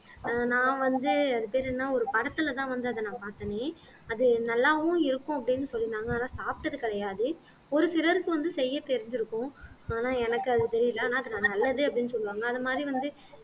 நான் வந்து அது பேரு என்ன ஒரு படத்துலதான் வந்து அத நான் பார்த்தேனே அது நல்லாவும் இருக்கும் அப்படின்னு சொல்லீருந்தாங்க ஆனா சாப்பிட்டது கிடையாது ஒரு சிலருக்கு வந்து செய்ய தெரிஞ்சிருக்கும் ஆனா எனக்கு அது தெரியலே ஆனா அது நல்லது அப்படின்னு சொல்லுவாங்க அது மாதிரி வந்து